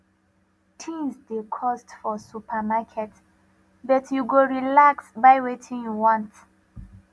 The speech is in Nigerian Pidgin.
tins dey cost for supermarket but you go relax buy wetin you want